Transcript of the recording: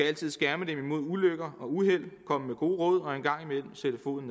altid skærme dem mod ulykker og uheld komme med gode råd og en gang imellem sætte foden